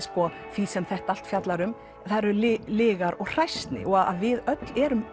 því sem þetta allt fjallar um það eru lygar og hræsni við öll erum